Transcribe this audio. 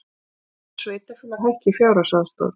Vill að sveitarfélög hækki fjárhagsaðstoð